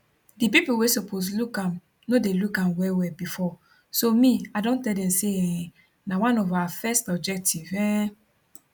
di pipo wey suppose look am no dey look am wellwell bifor so me i don tell dem say um na one of our first objective um